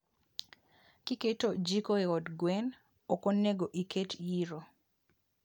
Kiketo jiko e od gwen, okonego iket yiro